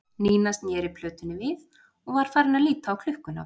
Nína sneri plötunni við og var farin að líta á klukkuna.